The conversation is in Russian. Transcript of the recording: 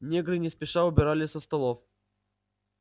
негры не спеша убирали со столов